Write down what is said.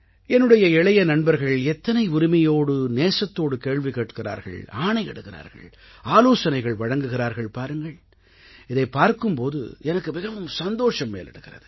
என்னுடைய இளைய நண்பர்கள் எத்தனை உரிமையோடு நேசத்தோடு கேள்வி கேட்கிறார்கள் ஆணையிடுகிறார்கள் ஆலோசனைகள் வழங்குகிறார்கள் பாருங்கள் இதைப் பார்க்கும் போது எனக்கு மிகவும் சந்தோஷம் மேலிடுகிறது